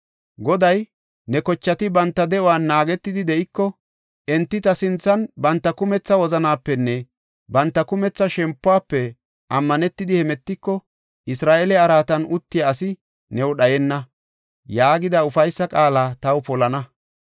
Goday, ‘Ne kochati banta de7uwan naagetidi de7iko, enti ta sinthan banta kumetha wozanapenne banta kumetha shempuwafe ammanetidi hemetiko, Isra7eele araatan uttiya asi new dhayenna’ ” yaagida ufaysa qaala taw polana.